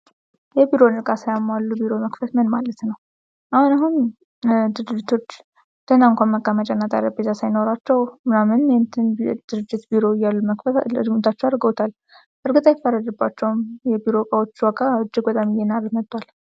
የቢሮ እቃን ሳያሟሉ ቢሮ መክፈት ምን ማለት ነው? አሁን አሁን ድርጅቶች ደና እንኳን መቀመጫና ጠረጴዛ ሳይኖራቸው ቢሮ እያሉ መክፈት እርምጃዎች አድርገውታል። በርግጥ ይፈረድባቸዋል የቢሮ እቃዎች ዋጋ እጅግ በጣም እየናረ መጥቷል።